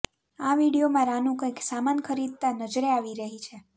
આ વીડિયોમાં રાનૂ કંઇક સામાન ખરીદતાં નજરે આવી રહી છે